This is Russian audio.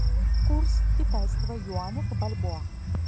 курс китайского юаня к бальбоа